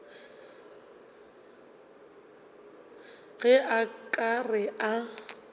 ge a ka re a